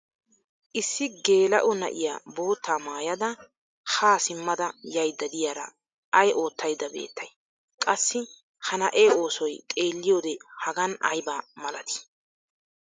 issi geela"o na'iya boottaa maayada haa simadda yaydda diyaara ayi ootaydda beettay? qassi ha ne'ee oosoy xeelliyode hagan ayba malatii?